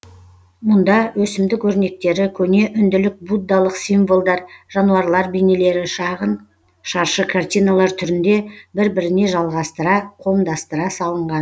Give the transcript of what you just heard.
мұнда өсімдік өрнектері көне үнділік буддалық символдар жануарлар бейнелері шағын шаршы картиналар түрінде бір біріне жалғастыра қомдастыра салынған